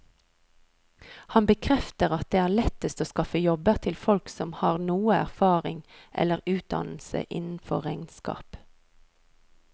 Han bekrefter at det er lettest å skaffe jobber til folk som har noe erfaring eller utdannelse innenfor regnskap.